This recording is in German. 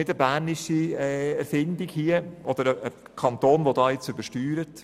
Es ist keine bernische Erfindung oder ein Kanton der nun übersteuert.